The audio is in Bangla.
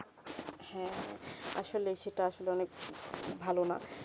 হেঁ আসলে সেটা আসলে অনেক ভালো না